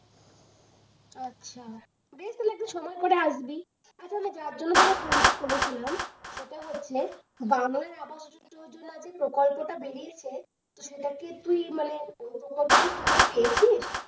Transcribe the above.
আচ্ছা বেশ তাহলে একদিন সময় করে আসবি, প্রচন্ড চাপ যেই জন্যে phone টা করেছিলাম সেটা হচ্ছে বারই আগস্ট জুলাই যে প্রকল্প টা বেরিয়েছে, সেটা কি তুই সেটা মানে ঔ প্রকল্প কি তুইও পেয়েছিস?